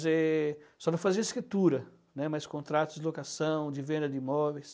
Só não fazia escritura, né, mas contratos de locação, de venda de imóveis.